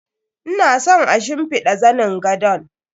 Ina son a shimfiɗa zanin gadon.